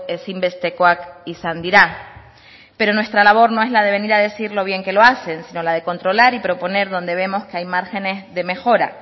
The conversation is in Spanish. ezinbestekoak izan dira pero nuestra labor no es la de venir a decir lo bien que lo hacen sino la de controlar y proponer donde vemos que hay márgenes de mejora